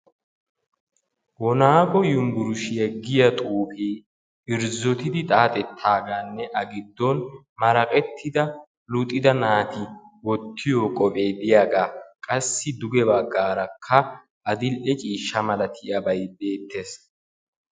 Woonago yunbburshiyaa giya xuufe irzzotidi xaxxeetagaanne A giddon maraqqettida luxidda naati wottiyo qophe diyaaga qassi duge baggarakka adl"e ciishsha malatiyaabay beettees.